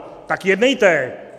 Tak jednejte!